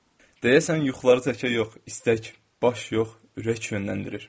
Deyəsən yuxuları tək əl yox, istək, baş yox, ürək yönləndirir.